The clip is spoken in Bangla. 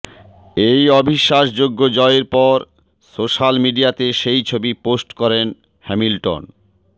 এই অবিশ্বাসযোগ্য় জয়ের পর স্য়োশাল মিডিয়াতে সেই ছবি পোস্ট করেন হ্যামিলটন